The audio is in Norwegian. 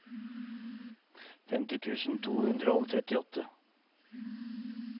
femti tusen to hundre og trettiåtte